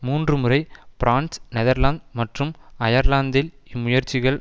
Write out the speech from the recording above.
மூன்று முறை France Netherlands மற்றும் அயர்லாந்தில் இம்முயற்சிகள்